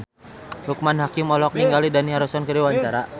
Loekman Hakim olohok ningali Dani Harrison keur diwawancara